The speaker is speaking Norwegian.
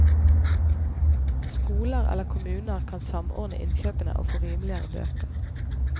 Skoler eller kommuner kan samordne innkjøpene og få rimeligere bøker.